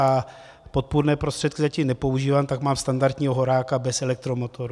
A podpůrné prostředky zatím nepoužívám, tak mám standardního horáka bez elektromotoru.